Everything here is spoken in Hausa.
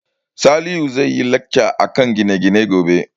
Salihu zai yi lacca akan gine-gine gobe